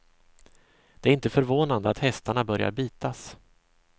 Det är inte förvånande att hästarna börjar bitas.